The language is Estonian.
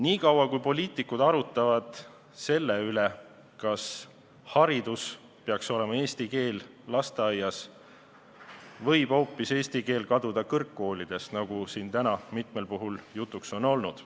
Sel ajal, kui poliitikud arutavad selle üle, kas haridus peaks olema eestikeelne juba lasteaias, võib eesti keel kaduda kõrgkoolidest, nagu siin täna mitmel puhul jutuks on olnud.